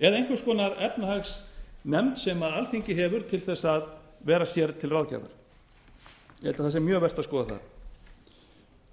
eða einhvers konar efnahagsnefnd sem alþingi hefur til þess að vera sér til ráðgjafar ég held að það sé mjög vert að skoða það